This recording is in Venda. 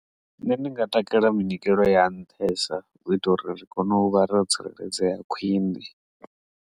Nṋe ndi nga takalela minyikelo ya nṱhesa zwi ita uri zwi kone u vha ro tsireledzea khwine.